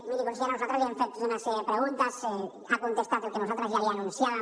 miri consellera nosaltres li hem fet una sèrie de preguntes ha contestat el que nosaltres ja li anunciaven